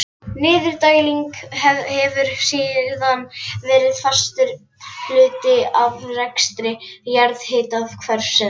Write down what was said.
Niðurdæling hefur síðan verið fastur hluti af rekstri jarðhitakerfisins.